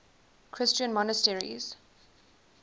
christian monasteries